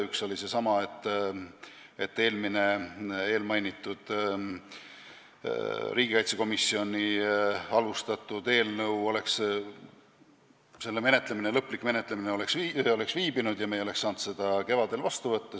Üks oli seesama põhjus, et riigikaitsekomisjoni algatatud eelmise eelnõu lõplik menetlemine oleks viibinud ja me ei oleks saanud seda kevadel vastu võtta.